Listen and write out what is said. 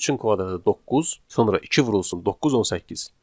yəni 3-ün kvadratı 9, sonra 2 vurulsun 9 18.